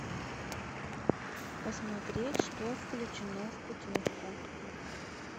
посмотреть что включено в путевку